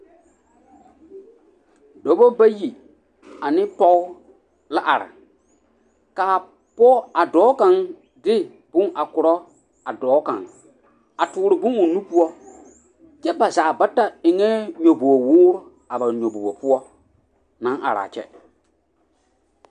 dɔba bayi ane pɔgba la are a dɔɔ kaŋa de a bonkaŋa kɔre a dɔɔ kang a tuure bon o nu poɔ kyɛ ba zaa bata eŋ nyɛboowoore a ba nyobobog poɔ naŋ are a kyɛ.